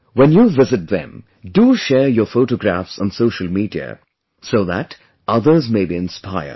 When you visit them, do share your photographs on social media so that others may be inspired